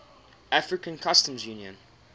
african customs union